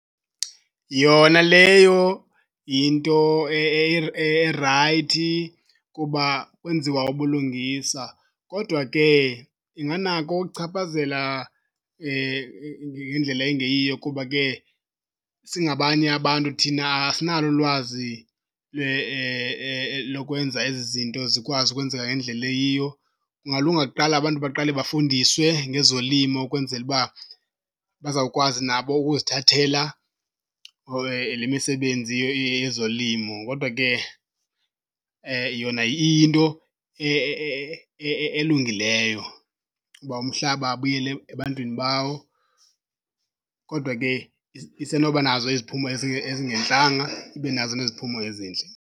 Yona leyo yinto erayithi kuba kwenziwa ubulungisa kodwa ke inganako ukuchaphazela ngendlela engeyiyo kuba ke singabanye abantu thina asinalo ulwazi lokwenza ezi zinto zikwazi ukwenzeka ngendlela eyiyo. Kungalunga kuqala abantu baqale bafundiswe ngezolimo ukwenzela uba bazawukwazi nabo ukuzithathela le misebenzi yezolimo. Kodwa ke yona iyinto elungileyo uba umhlaba abuyele ebantwini bawo. Kodwa ke isenoba nazo iziphumo ezingentlanga, ibe nazo neziphumo ezintle.